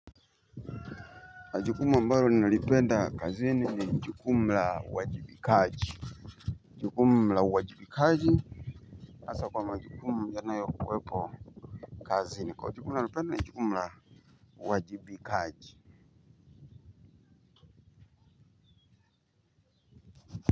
Majukumu ambayo ninalipenda kazini ni jukumu la uwajibikaji jukumu la uwajibikaji hasa kwa majukumu yanayo kuwepo kazini kwa majukumu nalipenda ni jukumu la uwajibikaji.